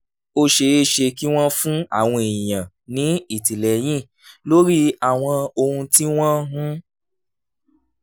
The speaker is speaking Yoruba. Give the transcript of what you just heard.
ó ṣeé ṣe kí wọ́n fún àwọn èèyàn ní ìtìlẹ́yìn lórí àwọn ohun tí wọ́n ń